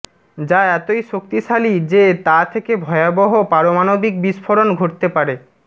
যা এতই শক্তিশালী যে তা থেকে ভয়াবহ পারমাণবিক বিস্ফোরণ ঘটতে পারে